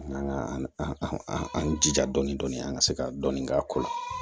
An ka an an jija dɔɔnin dɔɔnin an ka se ka dɔni k'a ko la